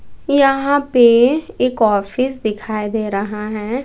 यहां पे एक ऑफिस दिखाई दे रहा है।